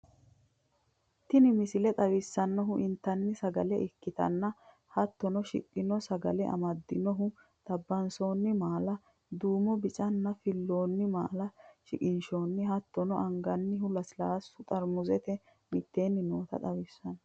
Tenni misilee xawisannohu entanni sagalle ekkitana hattino shiikno sagalee amadinnohu xabansonni malla duumo, biicana fiiloni malla shiiknshoni hattono angannha leslasuu xarmusenno mitteni noota xawissano.